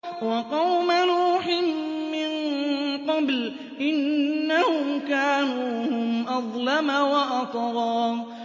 وَقَوْمَ نُوحٍ مِّن قَبْلُ ۖ إِنَّهُمْ كَانُوا هُمْ أَظْلَمَ وَأَطْغَىٰ